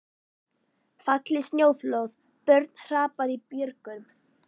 Fallið snjóflóð, börn hrapað í björgum.